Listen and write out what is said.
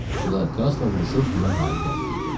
Bu da Krasla vuruşub ona qalib gəlmək idi.